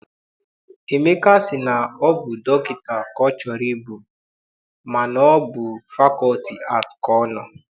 Emeka sị na ọ bụ dọkịta ka ọ chọrọ ịbụ mana ọ bụ na fakọlti aatị ka ọ nọ.